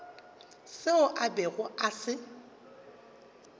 seo a bego a se